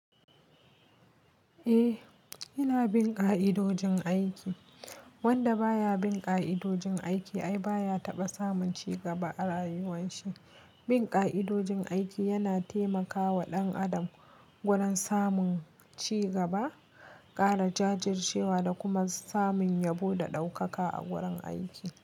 Eh, yana bin ka'idojin aiki. Wanda baya bin ka'idojin aiki ai baya taba samun cigaba a rayuwan shi. Bin ka'idojin aiki yana taimakawa ɗan adam gurin samun cigaba, ƙara jajircewa da kuma samun yabo da ɗaukaka a gurin aiki.